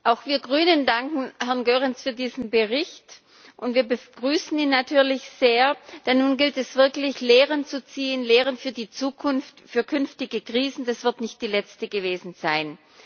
Auch wir Grünen danken Herrn Goerens für diesen Bericht und wir begrüßen ihn natürlich sehr, denn nun gilt es wirklich Lehren zu ziehen, Lehren für die Zukunft, für künftige Krisen, denn dies wird nicht die letzte gewesen sein.